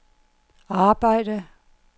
arbejde